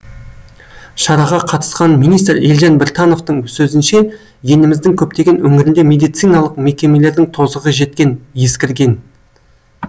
шараға қатысқан министр елжан біртановтың сөзінше еліміздің көптеген өңірінде медициналық мекемелердің тозығы жеткен ескірген